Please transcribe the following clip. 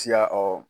Siya ɔ